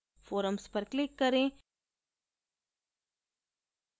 forums पर click करें